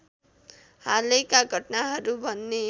हालैका घटनाहरू भन्ने